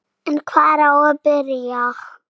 En hvar á að byrja?